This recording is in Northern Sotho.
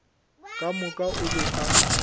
ka moka o be a